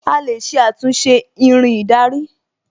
A lè ṣe àtúnṣe Irin ìdarí